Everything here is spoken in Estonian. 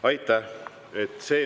Aitäh!